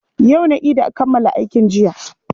Yau na ida kammala aikin jiya.